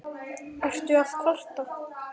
Ertu að kvarta?